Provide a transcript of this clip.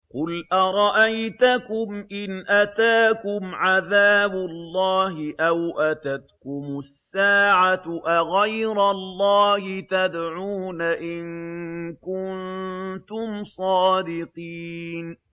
قُلْ أَرَأَيْتَكُمْ إِنْ أَتَاكُمْ عَذَابُ اللَّهِ أَوْ أَتَتْكُمُ السَّاعَةُ أَغَيْرَ اللَّهِ تَدْعُونَ إِن كُنتُمْ صَادِقِينَ